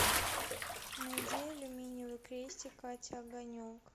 найди алюминиевый крестик катя огонек